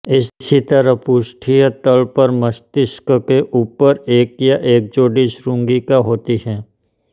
इसी तरह पृष्ठीय तल पर मस्तिष्क के ऊपर एक या एक जोड़ी श्रृंगिका होती है